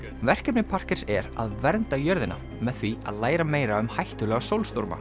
verkefni er að vernda jörðina með því að læra meira um hættulega